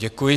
Děkuji.